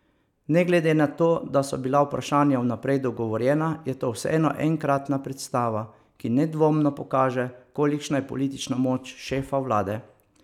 Ne glede na to, da so bila vprašanja vnaprej dogovorjena, je to vseeno enkratna predstava, ki nedvomno pokaže, kolikšna je politična moč šefa vlade.